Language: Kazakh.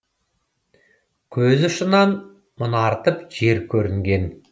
көз ұшынан мұнартып жер көрінген